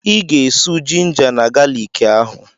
Ị ga-esù jinja na galiki ahụ!